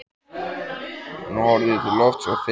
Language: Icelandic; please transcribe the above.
Hún horfði til lofts og þefaði.